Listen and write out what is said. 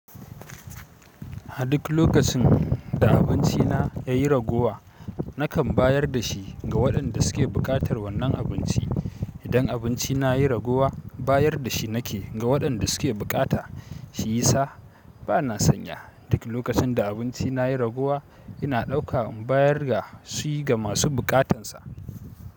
A duk lokacin da abincina ya yi ragowa, nakan bayar da shi ga waɗanda suke buƙatar wannan abinci. Idan abinci na ya yi ragowa, bayar da shi nake ga waɗanda suke bukata, shi yisa ba na sanya. Duk lokacin da abinci na yayi ragowa, ina ɗauka in bayar dashi ga masu bukatar sa.